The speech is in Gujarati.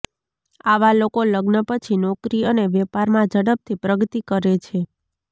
આવા લોકો લગ્ન પછી નોકરી અને વેપારમાં ઝડપથી પ્રગતિ કરે છે